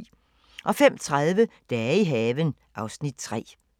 05:30: Dage i haven (Afs. 3)